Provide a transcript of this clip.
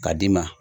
K'a d'i ma